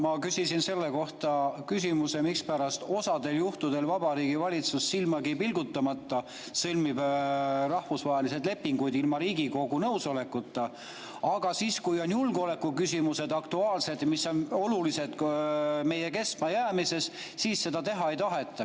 Ma küsisin selle kohta küsimuse, mispärast osal juhtudel Vabariigi Valitsus silmagi pilgutamata sõlmib rahvusvahelised lepingud ilma Riigikogu nõusolekuta, aga siis, kui on aktuaalsed julgeolekuküsimused, mis on olulised meie kestmajäämiseks, seda teha ei taheta.